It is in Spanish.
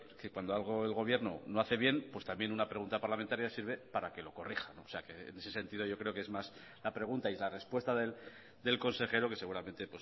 que cuando algo el gobierno no hace bien pues también una pregunta parlamentaria sirve para que lo corrija o sea que en ese sentido yo creo que es más la pregunta y la respuesta del consejero que seguramente